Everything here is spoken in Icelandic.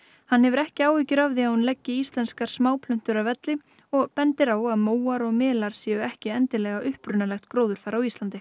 hann hefur ekki áhyggjur af því að hún leggi íslenskar að velli og bendir á að móar og melar séu ekki endilega upprunalegt gróðurfar á Íslandi